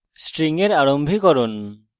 string এর আরম্ভীকরণ